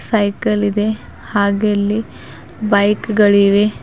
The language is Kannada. ಸೈಕಲ್ ಇದೆ ಹಾಗೆ ಇಲ್ಲಿ ಬೈಕ್ ಗಳಿವೆ.